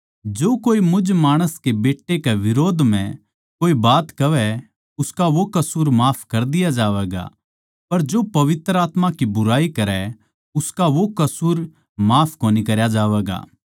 जो कोए मुझ माणस कै बेट्टे कै बिरोध म्ह कोए बात कहवै उसका वो कसूर माफ कर दिया जावैगा पर जो पवित्र आत्मा की बुराई करै उसका वो कसूर माफ कोनी करया जावैगा